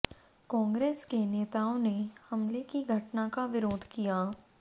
कांग्रेस के नेताओं ने हमले की घटना का विरोध किया